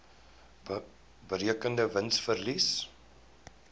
berekende wins verlies